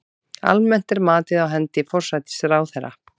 Almennt er matið á hendi forsætisráðherra.